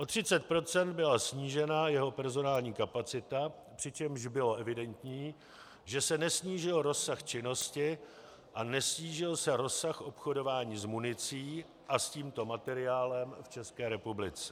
O 30 % byla snížena jeho personální kapacita, přičemž bylo evidentní, že se nesnížil rozsah činnosti a nesnížil se rozsah obchodování s municí a s tímto materiálem v České republice.